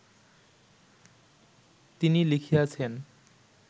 তিনি লিখিয়াছেন